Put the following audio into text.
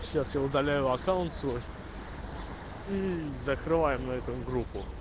сейчас я удаляю аккаунт свой закрываем на эту группу